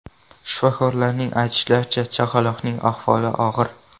Shifokorlarning aytishicha, chaqaloqning ahvoli og‘ir .